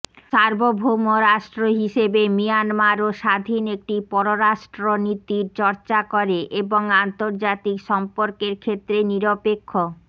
সার্বভৌম রাষ্ট্র হিসেবে মিয়ানমারও স্বাধীন একটি পররাষ্ট্রনীতির চর্চা করে এবং আন্তর্জাতিক সম্পর্কের ক্ষেত্রে নিরপেক্ষ